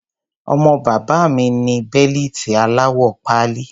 Ọmọ bàbá mi ní bẹ́lìtì aláwọ̀ pálí.